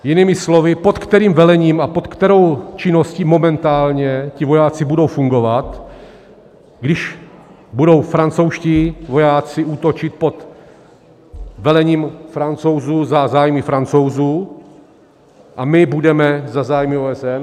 Jinými slovy, pod kterým velením a pod kterou činností momentálně ti vojáci budou fungovat, když budou francouzští vojáci útočit pod velením Francouzů za zájmy Francouzů a my budeme za zájmy OSN.